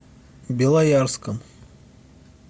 белоярском